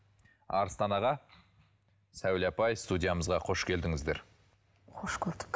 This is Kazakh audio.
арыстан аға сәуле апай студиямызға қош келдіңіздер қош көрдік